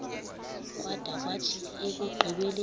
kwada kwathi ekugqibeleni